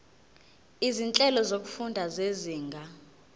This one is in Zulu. izinhlelo zokufunda zezinga